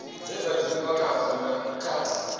dze dza dzheniwa khadzo kha